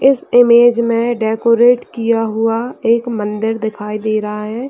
इस इमेज में डेकोरेट किया हुआ एक मंदिर दिखाई दे रहा है ।